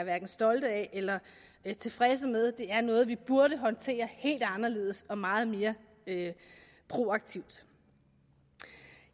stolte af eller tilfredse med det er noget vi burde håndtere helt anderledes og meget mere proaktivt